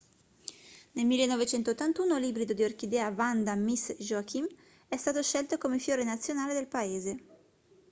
nel 1981 l'ibrido di orchidea vanda miss joaquim è stato scelto come fiore nazionale del paese